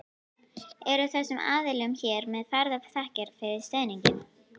Eru þessum aðilum hér með færðar þakkir fyrir stuðninginn.